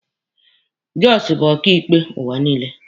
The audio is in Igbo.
Jịzọs bụ ọkaịkpe ụwa niile.